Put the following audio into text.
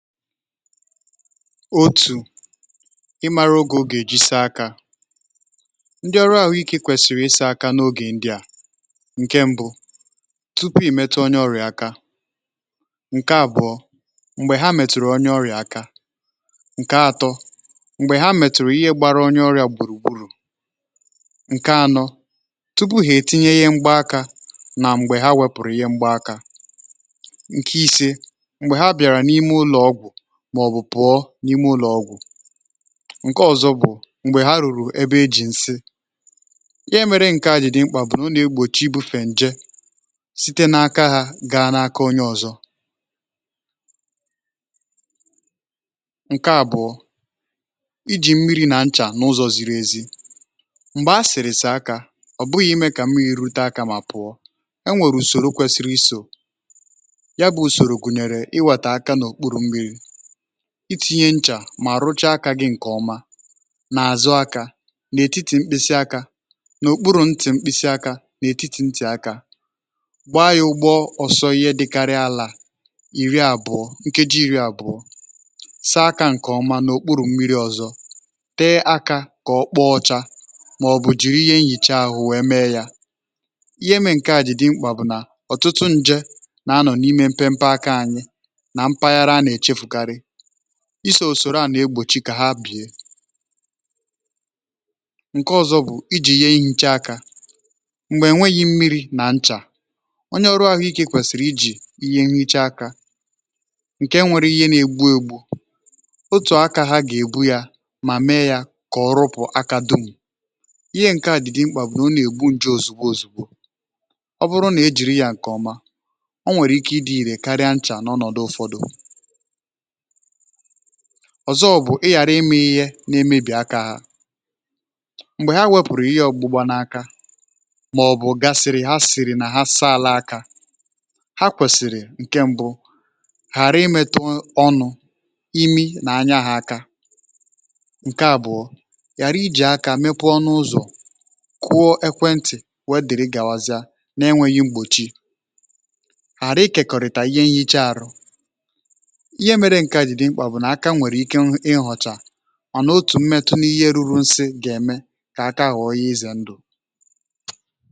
otù ịmara oge ọ gà-èji saa akȧ ndị ọrụ ahụ̀ ike kwèsìrì ịsȧ aka n’ogè ndị à, ǹke mbụ tupu ị̀ metụ onye ọrịà aka, ǹke abụọ, m̀gbè ha mètùrù onye ọrịà aka ǹke atọ, m̀gbè ha mètùrù ihe gbara onye ọrịà gbùrù gbùrù, ǹke anọ tupu hà ètinye ihe mgba akȧ nà m̀gbè ha wepùrù ihe mgba akȧ ǹke ise, mgbe ha biara n'ime ụlọ ọgwụ màọ̀bụ̀ pụ̀ọ n’ime ụlọ̀ọgwụ̀, ǹke ọ̀zọ bụ̀ m̀gbè ha rùrù ebe ejì ǹsị ihe mėrė ǹke a jị̇ dị mkpà bụ̀ na ọ nà-egbòchi ibùfè ǹje site n’aka ha gaa n’aka onye ọ̀zọ ǹke àbụọ̇ ijì mmiri̇ nà nchà n’ụzọ̇ ziri ezi m̀gbè a sị̀rị̀ saa akȧ ọ̀ bụghị̇ imė kà mmiri rute akȧ mà pụ̀ọ e nwèrè ùsòro kwèsìrì isò ya bụ̇ ùsòrò gụ̀nyèrè ịwàtà aka n’ọ̀kpụrụ̇ mmiri̇ itinye nchà mà rụchaa akȧ gị ǹkè ọma nà-àzụ akȧ n’etiti mkpịsi akȧ n’òkpuru̇ ntì mkpịsị akȧ n’ètiti ntì akȧ gbaa ya ụgbọ ọsọ ihe dịkarịa àlà iri àbùo nkeji iri àbùo saa akȧ ǹkè ọma n’òkpuru̇ mmiri ọ̀zọ tee akȧ kà ọkpọọ ọchȧ mà ọ̀ bù jìri ihe nhìche ahụ̀ wèe mee yȧ ihe mère nke à jì dị mkpà bụ̀ nà ọtụtụ njė nà anọ̀ n’ime mpe mpe akȧ anyị na mpaghara ana echefu kari isi̇ usòro à nà-egbòchi kà ha bìè ǹke ọ̇zọ̇ bụ̀ ijì ihe ehicha akȧ m̀gbè enwėghi̇ mmiri̇ nà nchà onye ọrụ àhụ ikė kwèsìrì ijì ihe nhicha akȧ ǹke nwere ihe nà-egbu̇ egbu̇ otù akȧ ha gà-èbu yȧ mà mee yȧ kà ọrụpụ̀ aka dum ihe ǹke à ji dị mkpà bụ̀ nà ọ nà-ègbu njè òzùgbo òzùgbo ọ bụrụ nà i jìri yȧ ǹkè ọma ọ nwèrè ike ịdị̇ irè karịa nchà n’ọnọ̀dụ ụfọdụ ọ̀zọ bụ̀ ị ghàra ime ihe n’imebì akȧ ha m̀gbè ha wepùrù ihe ọ̀gbụgba n’aka mà ọ̀ bụ̀ ga sị̀rị ha sìrị nà ha asala akȧ ha kwèsìrì ǹkẹ̀ mbụ ghàra ịmẹtụ ọnụ̇, imi nà anya ha aka ǹkẹ̀ àbụ̀ọ ghàri ijì aka mepee ọnụ ụzọ̀ kuọ ekwentị̀ wee dere gàwazịa n’enwėghi̇ mgbòchi ghàra ikekọ̀rị̀tà ihe nhicha àrụ, ihe mere nke a ji dị mkpa bu na aka were ike ighocha ọ nà otù m̀metụ n’ihe ruru nsi gà-ème kà aka ghọ̀ọ ihe ịzẹ̀ ndụ̀.